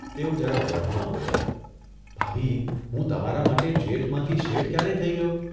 તેઓ જરા વઢમાં બોલ્યાં, ' ભાભી હું તમારા માટે જેઠમાંથી શેઠ ક્યારે થઇ ગયો?